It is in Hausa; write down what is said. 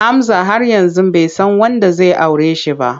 Hamza har yanzu bai san wanda zai aure shi ba.